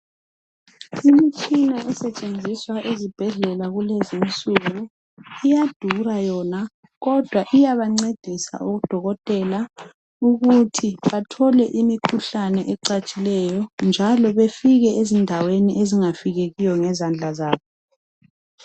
imitshina esetshenziswa ezibhedlela kulezi insuku iyadura yona kodwa iyabancedisa odokotela ukuthi bathole imikhuhlane ecatshileyo njalo befike ezindaweni ezingafikekiyo ngezandla zabo